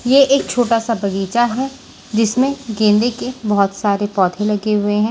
ये एक छोटा सा बगीचा है जिसमें गेंदे के बहुत सारे पौधे लगे हुए हैं।